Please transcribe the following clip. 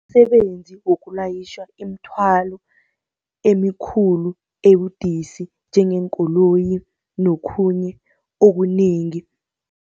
Msebenzi wokulayitjha imithwalo emikhulu ebudisi, njengeenkoloyi nokhunye okunengi.